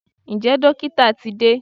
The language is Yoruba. Ǹjẹ́ dókítà ti de?